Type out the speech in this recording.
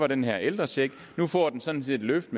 den her ældrecheck og nu får den sådan set et løft